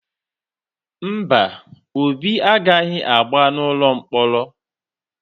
Mba, Obi agaghị agba n’ụlọ mkpọrọ.